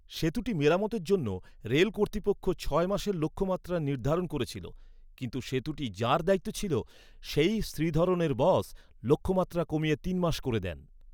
সেতুটি মেরামতের জন্য রেল কর্তৃপক্ষ ছয় মাসের লক্ষ্যমাত্রা নির্ধারণ করেছিল। কিন্তু সেতুটি যাঁর দায়িত্বে ছিল, সেই শ্রীধরনের বস, লক্ষ্যমাত্রা কমিয়ে তিন মাস করে দেন।